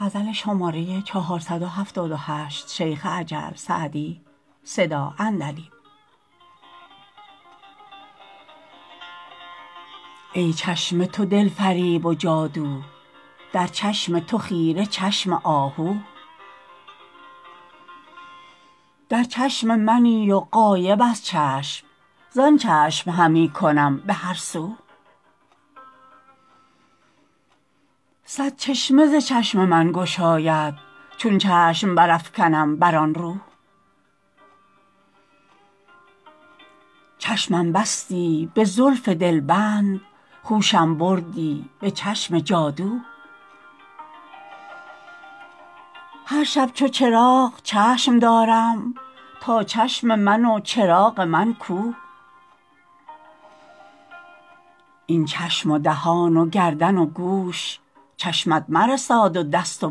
ای چشم تو دل فریب و جادو در چشم تو خیره چشم آهو در چشم منی و غایب از چشم زآن چشم همی کنم به هر سو صد چشمه ز چشم من گشاید چون چشم برافکنم بر آن رو چشمم بستی به زلف دلبند هوشم بردی به چشم جادو هر شب چو چراغ چشم دارم تا چشم من و چراغ من کو این چشم و دهان و گردن و گوش چشمت مرساد و دست و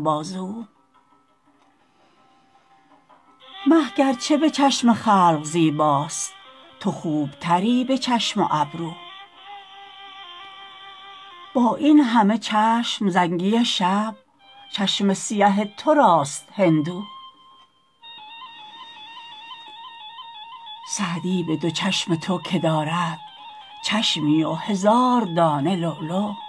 بازو مه گر چه به چشم خلق زیباست تو خوب تری به چشم و ابرو با این همه چشم زنگی شب چشم سیه تو راست هندو سعدی به دو چشم تو که دارد چشمی و هزار دانه لولو